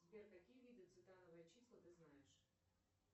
сбер какие виды цитановые числа ты знаешь